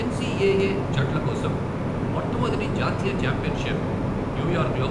NCAA జట్ల కోసం మొట్టమొదటి జాతీయ ఛాంపియన్షిప్, న్యూయార్క్లో